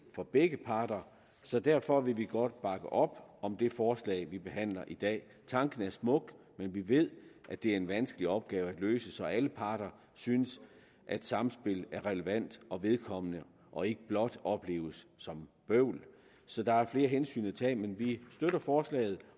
for begge parter derfor vil vi godt bakke op om det forslag vi behandler i dag tanken er smuk men vi ved at det er en vanskelig opgave at løse så alle parter synes samspillet er relevant og vedkommende og ikke blot opleves som bøvl så der er flere hensyn at tage men vi støtter forslaget